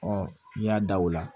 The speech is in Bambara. n'i y'a da o la